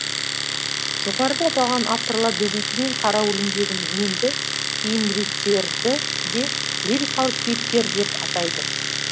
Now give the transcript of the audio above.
жоғарыда аталған авторлар добейти мен қара өлеңдегі меңді кейін лирикалық кейіпкер деп атайды